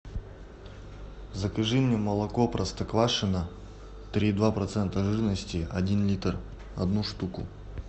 закажи мне молоко простоквашино три и два процента жирности один литр одну штуку